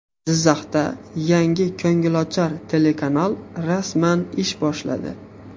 Jizzaxda yangi ko‘ngilochar telekanal rasman ish boshladi.